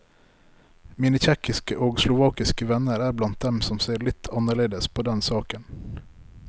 Mine tsjekkiske og slovakiske venner er blant dem som ser litt annerledes på den saken.